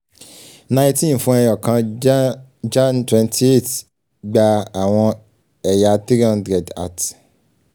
nineteen fun ẹyọkan ja jan twenty eight gba awọn ẹya three hundred @